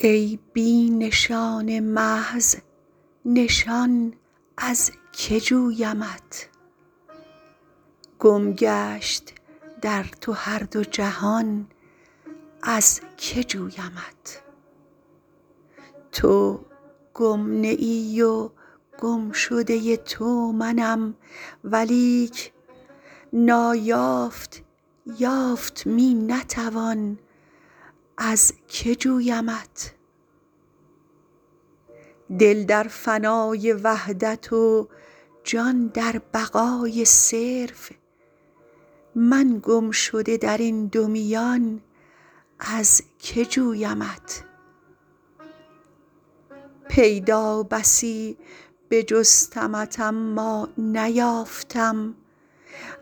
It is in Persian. ای بی نشان محض نشان از که جویمت گم گشت در تو هر دو جهان از که جویمت تو گم نه ای و گمشده تو منم ولیک نایافت یافت می نتوان از که جویمت دل در فنای وحدت و جان در بقای صرف من گمشده درین دو میان از که جویمت پیدا بسی بجستمت اما نیافتم